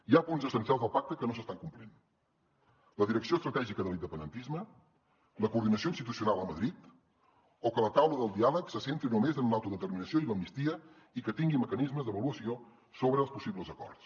hi ha punts essencials del pacte que no s’estan complint la direcció estratègica de l’independentisme la coordinació institucional a madrid o que la taula del diàleg se centri només en l’autodeterminació i l’amnistia i que tingui mecanismes d’avaluació sobre els possibles acords